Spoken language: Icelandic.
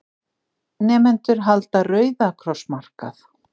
Nemendur halda Rauða kross markað